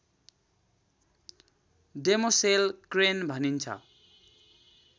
demoiselle crane भनिन्छ